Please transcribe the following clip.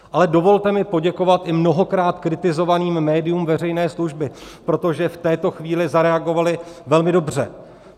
Ale dovolte mi poděkovat i mnohokrát kritizovaným médiím veřejné služby, protože v této chvíli zareagovala velmi dobře.